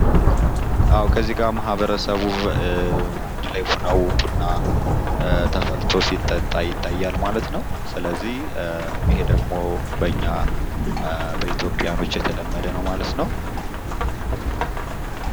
ከዚጋ ማህበረሰቡ ባንድ ላይ ሁነው ቡና ተፈልቶ ሲጠጣ ይታያልማለት ነው። ስለዚህ ይሄ ደግሞ በኛ በኢትዮጵያዊያኖች የተለመደ ነው ማለት ነው።